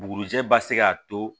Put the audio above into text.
Bugurijɛ ba se ka to